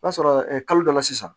N'a sɔrɔra kalo dɔ la sisan